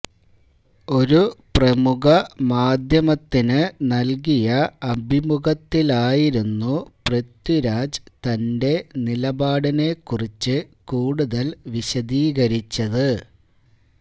ഒരു പ്രമുഖ മാധ്യമത്തിന് നല്കിയ അഭിമുഖത്തിലായിരുന്നു പൃഥ്വിരാജ് തന്റെ നിലപാടിനെക്കുറിച്ച് കൂടുതല് വിശദീകരിച്ചത്